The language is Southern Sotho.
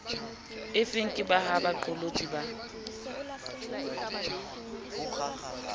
efeng ke ha baqolotsi ba